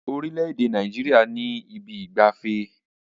Orílẹ̀ èdè Nàìjíríà ní ibi ìgbafẹ́.